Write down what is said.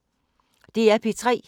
DR P3